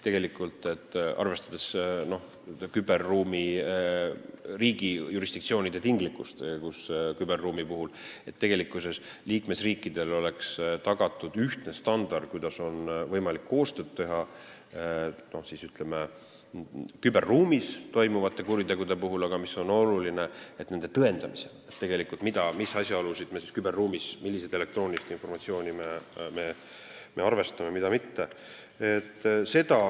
Arvestades riigi jurisdiktsioonide tinglikkust küberruumis, tuleb tagada, et liikmesriikidel oleks ühtne standard, kuidas on võimalik koostööd teha küberruumis toimuvate kuritegude puhul, aga tõendamisel on oluline, mis asjaolusid, millist informatsiooni me küberruumis arvestame ja mida mitte.